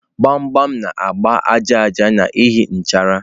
Gbam gbam na-agba aja aja n'ihi nchara.